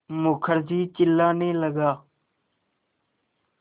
मुखर्जी चिल्लाने लगा